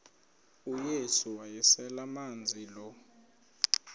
uyesu wayeselemazi lo